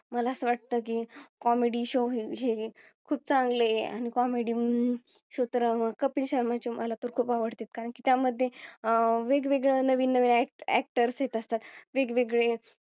मला असं वाटतं की Comedy show हे खूप चांगलं आहे आणि Comedy show अं तर कपिल शर्मा ची मला खूप आवडतात कारण त्या मध्ये अह वेगवेगळ नवीन नवीन Actors येत असतात. वेगवेगळे